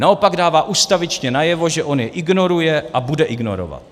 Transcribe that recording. Naopak dává ustavičně najevo, že on je ignoruje a bude ignorovat.